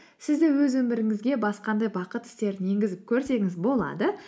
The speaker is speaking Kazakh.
сіз де өз өміріңізге басқандай бақыт істерін енгізіп көрсеңіз болады